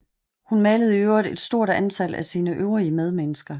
Hun malede i øvrigt et stort antal af sine øvrige medmennesker